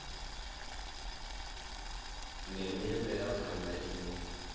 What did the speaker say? ndeme ya mvelaphanda ine ya